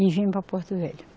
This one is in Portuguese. E vim para Porto Velho.